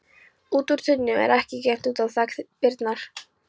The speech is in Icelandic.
Úr turninum er gengt út á þak byggingarinnar.